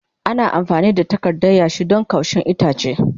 Ana amfani da takarda yashi don kaushin itace.